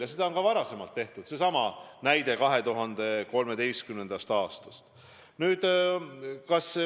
Ja seda on ka varem tehtud, seesama näide 2013. aastast.